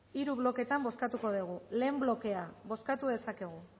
hiru bloketan bozkatuko dugu lehen blokea bozkatu dezakegu